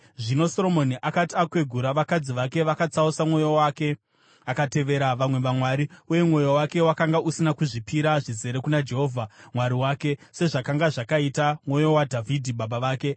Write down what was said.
Zvino Soromoni akati akwegura, vakadzi vake vakatsausa mwoyo wake akatevera vamwe vamwari, uye mwoyo wake wakanga usina kuzvipira zvizere kuna Jehovha Mwari wake, sezvakanga zvakaita mwoyo waDhavhidhi baba vake.